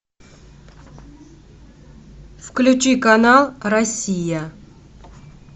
включи канал россия